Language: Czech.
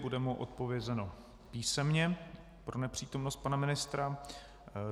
Bude mu odpovězeno písemně pro nepřítomnost pana ministra.